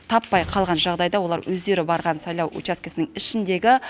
таппай қалған жағдайда олар өздері барған сайлау учаскесінің ішіндегі